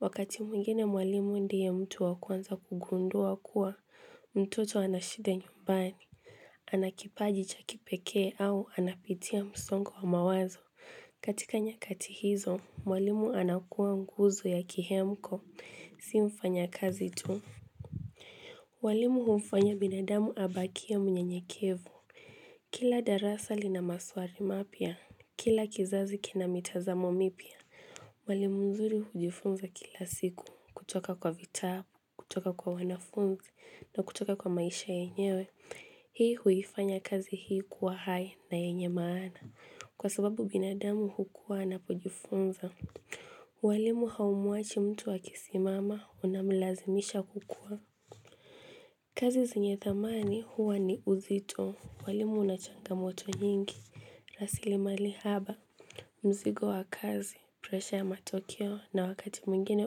Wakati mwingine mwalimu ndiye mtu wa kwanza kugundua kuwa, mtoto anashida nyumbani, anakipaji chakipekee au anapitia msongo wa mawazo. Katika nyakati hizo, mwalimu anakuwa nguzo ya kihemko, simfanya kazi tu. Mwalimu hufanya binadamu abakie mnyenyekevu. Kila darasa lina maswali mapya, kila kizazi kina mitazamo mipya. Mwalimu nzuri hujifunza kila siku kutoka kwa vitabu, kutoka kwa wanafunzi na kutoka kwa maisha yenyewe. Hii huifanya kazi hii kuwa hai na yenye maana kwa sababu binadamu hukua ana pojifunza. Walimu haumwachi mtu akisimama unamlazimisha kukua. Kazi zenye thamani huwa ni uzito. Walimu unachanga moto nyingi. Rasilimalihaba, mzigo wa kazi, presha ya matokeo na wakati mwingine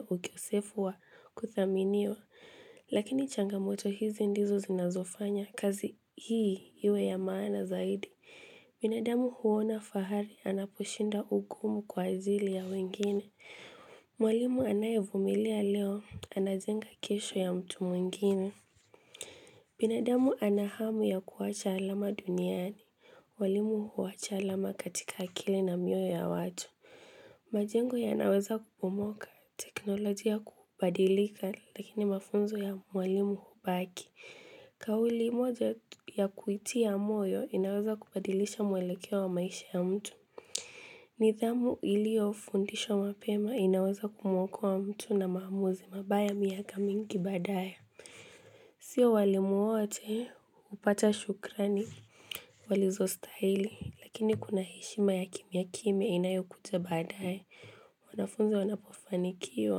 ukosefu wa kuthaminiwa. Lakini changamoto hizi ndizo zinazofanya, kazi hii iwe ya maana zaidi. Binadamu huona fahari anapushinda ugumu kwa azili ya wengine. Mwalimu anaevumilia leo, anajenga kesho ya mtu mwingine. Binadamu anahamu ya kuwacha alama duniani. Walimu huwacha alama katika akili na miyo ya watu. Majengo ya naweza kubumoka teknolojia kubadilika lakini mafunzo ya walimu hubaki. Kauli moja ya kuitiya moyo inaweza kubadilisha mwelekewa wa maisha ya mtu. Nidhamu ilio fundishwa mapema inaweza kumuokowa mtu na maamuzi mabaya miaka mingi baadaye. Sio walimu wote, upata shukrani, walizo stahili, lakini kuna heshima ya kimya kimya inayokuja baadae, wanafunzi wanapofanikiwa,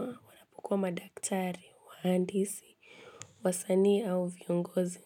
wanapokuwa madaktari, wahandisi, wasanii au viongozi.